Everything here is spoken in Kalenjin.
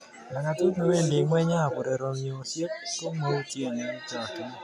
Langatut newendi ngweny ab urerenosiek komautien eng chogchinet.